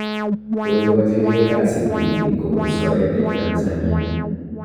Koikachigei kasi tibik kobun soet eng Tanzania